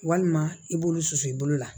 Walima i b'olu susu i bolo la